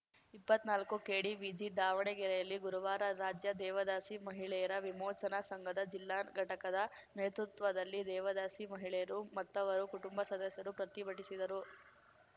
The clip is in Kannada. ಇಪ್ಪತ್ನಾಲ್ಕುಕೆಡಿವಿಜಿ ದಾವಣಗೆರೆಯಲ್ಲಿ ಗುರುವಾರ ರಾಜ್ಯ ದೇವದಾಸಿ ಮಹಿಳೆಯರ ವಿಮೋಚನಾ ಸಂಘದ ಜಿಲ್ಲಾ ಘಟಕದ ನೇತೃತ್ವದಲ್ಲಿ ದೇವದಾಸಿ ಮಹಿಳೆಯರು ಮತ್ತವರು ಕುಟುಂಬ ಸದಸ್ಯರು ಪ್ರತಿಭಟಿಸಿದರು